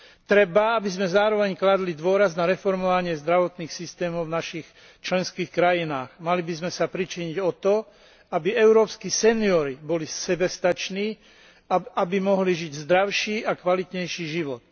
Treba, aby sme zároveň kládli dôraz na reformovanie zdravotných systémov v našich členských krajinách. Mali by sme sa pričiniť o to, aby európski seniori boli sebestační a aby mohli žiť zdravší a kvalitnejší život.